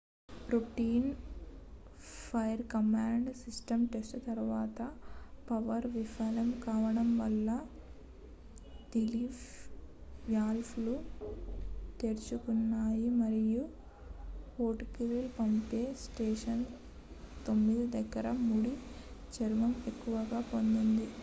routine fire command system test తరువాత power విఫలం కావడం వల్ల రిలీఫ్ వాల్వ్ లు తెరుచుకున్నాయి మరియు ఫోర్ట్ గ్రీలీ పంప్ స్టేషన్ 9 దగ్గర ముడి చమురు ఎక్కువగా పొంగింది